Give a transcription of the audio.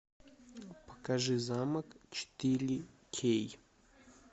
покажи замок четыре кей